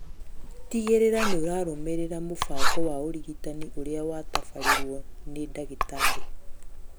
Tigĩrĩra nĩũrarũmĩrĩra mũbango wa ũrigitani ũrĩa watabarĩirwo nĩ ndagĩtarĩ